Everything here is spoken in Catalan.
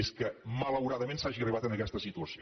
és que malauradament s’hagi arribat a aquesta situació